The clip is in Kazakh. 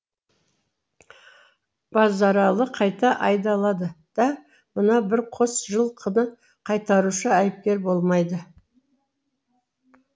базаралы қайта айдалады да мына бір қос жыл қыны қайтарушы айыпкер болмайды